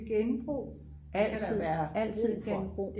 altid genbrug